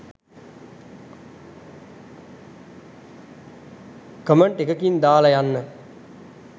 comment එකකින් දාලා යන්න